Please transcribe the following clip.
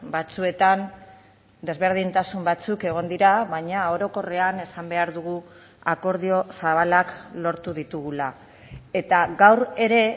batzuetan desberdintasun batzuk egon dira baina orokorrean esan behar dugu akordio zabalak lortu ditugula eta gaur ere